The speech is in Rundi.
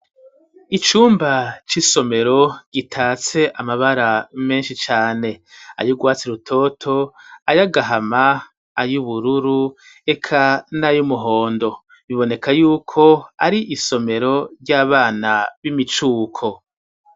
Icumba c'isomero gitatse amabara menshi cane ayugwatse rutoto ,ayo agahama ,ayo ubururu eka n'ayo umuhondo biboneka yuko ari isomero ry'abana b'imicuko.